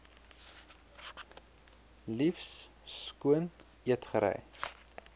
liefs skoon eetgerei